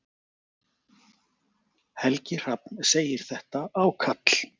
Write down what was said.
Helgi Hrafn segir þetta ákall.